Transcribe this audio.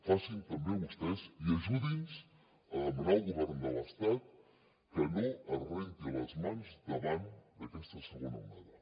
facin també vostès i ajudi’ns a demanar al govern de l’estat que no es renti les mans davant d’aquesta segona onada